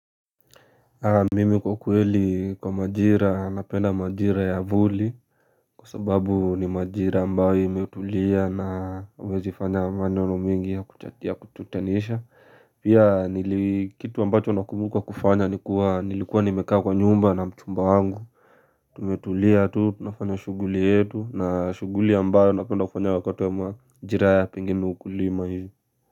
Mimi kwa kweli kwa maajira, napenda maajira ya vuli Kwa sababu ni maajira ambayo imetulia na huwezifanya maneno mengi ya kututanisha Pia kitu ambacho nakumbuka kufanya nilikuwa nimekaa kwa nyumba na mchumba wangu Tumetulia tu, tunafanya shuguli yetu na shuguli ambayo napenda kufanya wakati ya maajira pengine ni ukulima hivo.